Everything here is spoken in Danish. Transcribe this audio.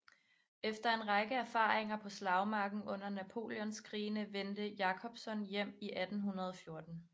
Efter en række erfaringer på slagmarken under Napoleonskrigene vendte Jacobson hjem i 1814